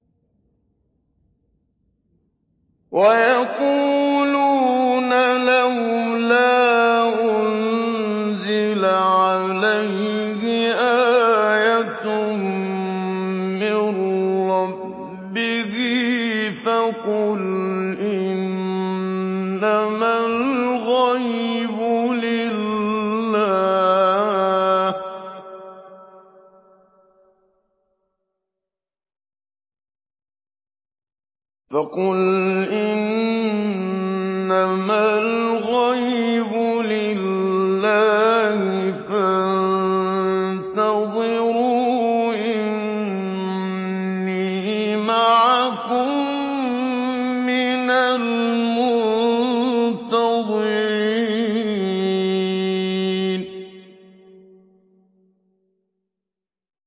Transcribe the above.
وَيَقُولُونَ لَوْلَا أُنزِلَ عَلَيْهِ آيَةٌ مِّن رَّبِّهِ ۖ فَقُلْ إِنَّمَا الْغَيْبُ لِلَّهِ فَانتَظِرُوا إِنِّي مَعَكُم مِّنَ الْمُنتَظِرِينَ